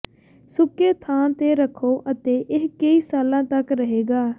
ਸੁੱਕੇ ਥਾਂ ਤੇ ਰੱਖੋ ਅਤੇ ਇਹ ਕਈ ਸਾਲਾਂ ਤਕ ਰਹੇਗਾ